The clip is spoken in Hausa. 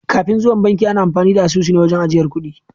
Kafin zuwan banki ana amfani da asusu ne wajen yin ajiyar dukiya.